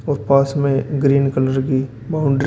और पास मे ग्रीन कलर की बाउंड्री --